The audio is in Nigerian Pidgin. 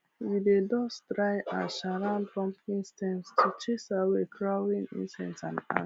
we dey dust dry ash around pumpkin stems to chase away crawling insects and